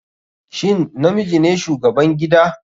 Shin namiji ne shugaban gida/